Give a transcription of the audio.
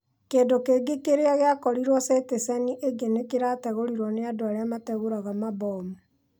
Kĩndũkĩngĩ kĩrĩa gĩakorirwo citĩceni ingĩ nĩ kĩrategũrirwo nĩ andũarĩa mategũraga mambomu.